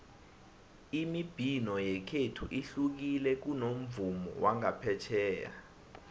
imibhino yekhethu ihlukile kunomvumo wangaphetjheya